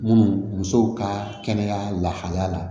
Munnu musow ka kɛnɛya lahalaya la